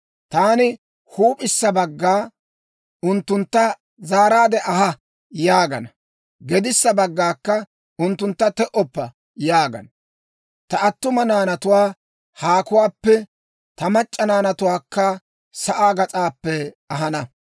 Taani huup'issa bagga, ‹Unttuntta zaaraade aha!› yaagana. Gedissa baggaakka, ‹Unttuntta te"oppa› yaagana. Ta attuma naanatuwaa haakuwaappe, ta mac'c'a naanatuwaakka sa'aa gas'aappe ahana;